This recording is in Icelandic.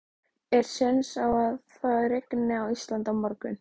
Er séns á að það rigni á Íslandi á morgun?